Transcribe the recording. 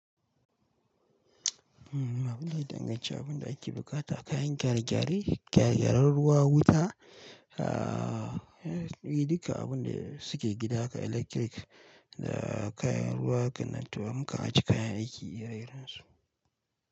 Abin da ya danganci abin da ake buƙata, kayan gyare-gyare, gyare-gyaren ruwa, wuta, a, duka abin da suke gida haka, electric da kayan ruwa, hakan nan, to mukan ajiye kayan aiki ire-irensu.